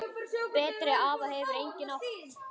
Betri afa hefur enginn átt.